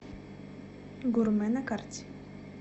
гурме на карте